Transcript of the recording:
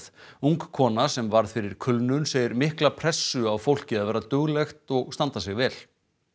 ung kona sem varð fyrir kulnun segir mikla pressu á fólki að vera duglegt og standa sig vel